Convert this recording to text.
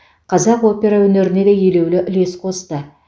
қазақ опера өнеріне де елеулі үлес қосты